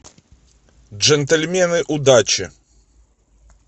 джентльмены удачи